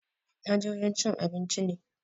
Na je wajen cin abinci ne